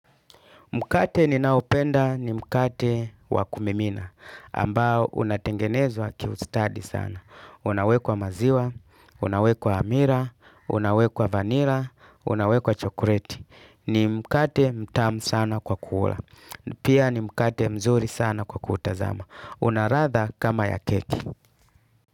Mkate ninaopenda ni mkate wakumimina, ambao unatengenezwa kiustadi sana. Unawekwa maziwa, unawekwa amira, unawekwa vanila, unawekwa chokoleti. Ni mkate mtamu sana kwa kuula. Pia ni mkate mzuri sana kwa kuutazama. Unaladha kama ya keki.